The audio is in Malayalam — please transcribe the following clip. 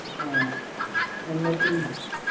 അഹ് എന്നെത്തി